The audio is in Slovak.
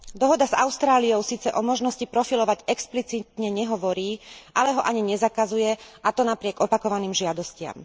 Dohoda s Austráliou síce o možnosti profilovať explicitne nehovorí, ale ho ani nezakazuje, a to napriek opakovaným žiadostiam.